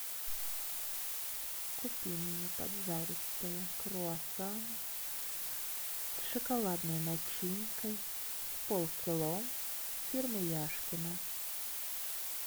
купи мне поджаристые круассаны с шоколадной начинкой с полкило фирмы яшкино